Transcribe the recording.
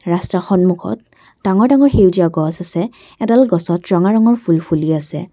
ৰাস্তাৰ সন্মুখত ডাঙৰ ডাঙৰ সেউজীয়া গছ আছে এডাল গছত ৰঙা ৰঙৰ ফুল ফুলি আছে।